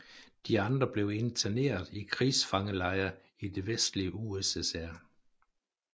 De andre blev interneret i krigsfangelejre i det vestlige USSR